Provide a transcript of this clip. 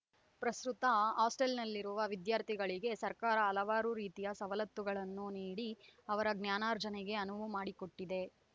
ಪ್ರಸ್ತುತ ಹಾಸ್ಟೊಲ್‌ನಲ್ಲಿರುವ ವಿದ್ಯಾರ್ಥಿಗಳಿಗೆ ಸರ್ಕಾರ ಹಲವಾರು ರೀತಿಯ ಸವಲತ್ತುಗಳನ್ನು ನೀಡಿ ಅವರ ಜ್ಞಾನಾರ್ಜನೆಗೆ ಅನುವು ಮಾಡಿಕೊಟ್ಟಿದೆ